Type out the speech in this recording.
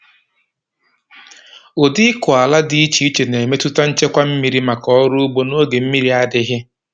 Ụdị ịkụ ala dị iche iche na-emetụta nchekwa mmiri maka ọrụ ugbo n’oge mmiri adịghị.